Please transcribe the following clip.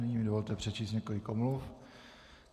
Nyní mi dovolte přečíst několik omluv.